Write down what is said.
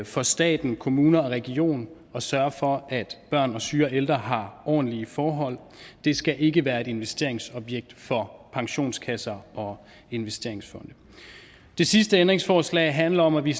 for staten kommuner og regioner at sørge for at børn og syge og ældre har ordentlige forhold det skal ikke være et investeringsobjekt for pensionskasser og investeringsfonde det sidste ændringsforslag handler om at vi